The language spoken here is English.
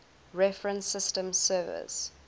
reference systems service